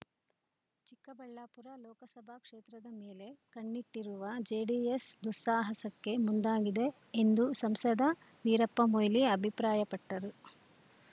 ಚಿಕ್ಕಬಳ್ಳಾಪುರ ಲೋಕಸಭಾ ಕ್ಷೇತ್ರದ ಮೇಲೆ ಕಣ್ಣಿಟ್ಟಿರುವ ಜೆಡಿಎಸ್‌ ದುಸ್ಸಾಹಸಕ್ಕೆ ಮುಂದಾಗಿದೆ ಎಂದು ಸಂಸದ ವೀರಪ್ಪಮೊಯ್ಲಿ ಅಭಿಪ್ರಾಯಪಟ್ಟರು